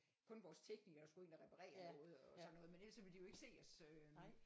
Kun vores teknikere skulle ind og reparere noget og sådan noget men ellers så ville de jo ikke se os